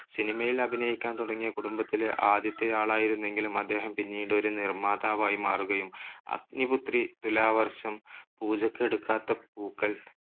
cinema യിൽ അഭിനയിക്കാൻ തുടങ്ങിയ കുടുംബത്തിലെ ആദ്യത്തെയാളായിരുന്നെങ്കിലും അദ്ദേഹം പിന്നീട് ഒരു നിർമ്മാതാവായി മാറുകയും അഗ്നിപുത്രി, തുലാവർഷം, പൂജക്ക് എടുക്കാത്ത പൂക്കൾ,